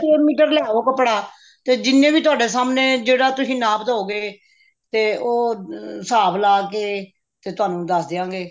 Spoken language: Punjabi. ਛੇ ਮੀਟਰ ਲਿਆਓ ਕੱਪੜਾ ਤੇ ਜਿੰਨੇ ਵੀ ਤੁਹਾਡੇ ਸਾਹਮਣੇ ਜਿੰਨਾ ਵੀ ਤੁਸੀਂ ਨਾਪ ਦਿਓਗੇ ਤੇ ਉਹ ਹਿਸਾਬ ਲਾ ਕੇ ਤੇ ਤੁਹਾਨੂੰ ਦੱਸ ਦਿਆਂਗੇ